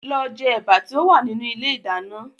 Lọ jẹ ẹ̀bà tí ó wà nínú ilé ìdáná